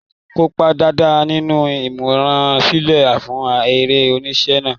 Kópa dáadáa nínú ìmúrasílẹ̀ fún eré-oníṣe náà.